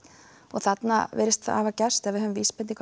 þarna virðist hafa gerst eða vísbendingar